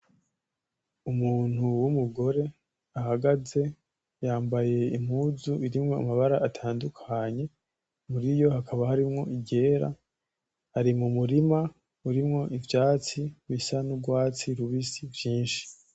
Umuntu w'umugore ahagaze yambaye impuzu irimwo amabara atandukanye muriyo hakaba harimwo iry'era ari mu murima urimwo ivyatsi rusa nu'rwatsi rubisi vyinshi.